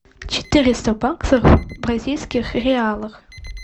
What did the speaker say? четыреста баксов в бразильских реалах